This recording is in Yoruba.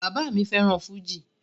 Bàbá mi fẹ́ràn fújì